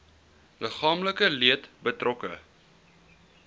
liggaamlike leed betrokke